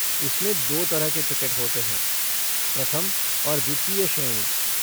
इसमें दो तरह के टिकट होते हैं, प्रथम और द्वितीय श्रेणी।